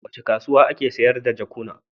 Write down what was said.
A wace kasuwa ake sayar da jakuna?